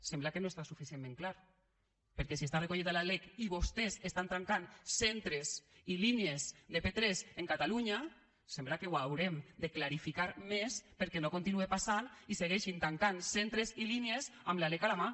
sembla que no està suficientment clar perquè si està recollit a la lec i vostès estant tancat centres i línies de p3 en catalunya sembla que ho haurem de clarificar més perquè no continue passant i segueixin tancant centres i línies amb la lec a la mà